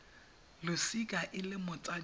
losika e le motsadi wa